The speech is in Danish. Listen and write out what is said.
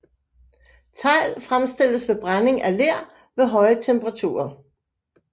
Tegl fremstilles ved brænding af ler ved høje temperaturer